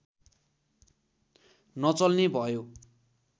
नचल्ने भयो